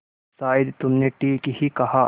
शायद तुमने ठीक ही कहा